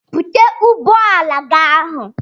Bute ụgbọala gị ahụ!